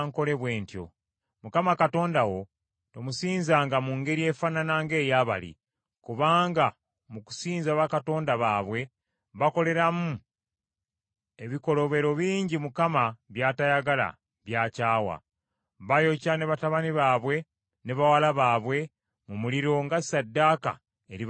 Mukama Katonda wo tomusinzanga mu ngeri efaanana ng’eya bali, kubanga mu kusinza bakatonda baabwe bakoleramu ebikolobero bingi Mukama by’atayagala, by’akyawa. Bayokya ne batabani baabwe ne bawala baabwe mu muliro nga ssaddaaka eri bakatonda baabwe.